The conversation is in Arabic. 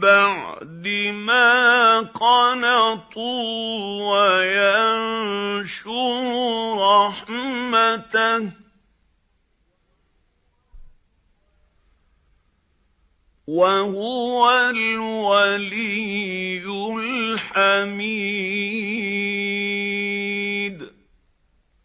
بَعْدِ مَا قَنَطُوا وَيَنشُرُ رَحْمَتَهُ ۚ وَهُوَ الْوَلِيُّ الْحَمِيدُ